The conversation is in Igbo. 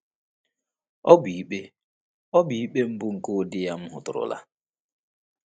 “Ọ bụ ikpe “Ọ bụ ikpe mbụ nke ụdị ya m hụtụrụla.”